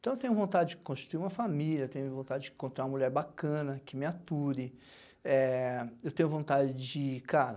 Então eu tenho vontade de construir uma família, tenho vontade de encontrar uma mulher bacana que me ature, é... Eu tenho vontade de, cara,